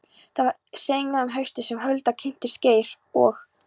Það var seinna um haustið sem Hulda kynntist Geir og